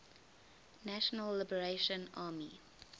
national liberation army